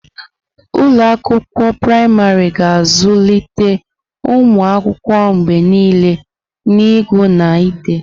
Ụlọ akwụkwọ praịmarị ga-azụlite ụmụ akwụkwọ mgbe niile n'ịgụ na ide.